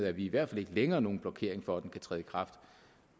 er vi i hvert fald ikke længere nogen blokering for at den kan træde i kraft